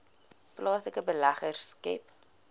plaaslike beleggers skep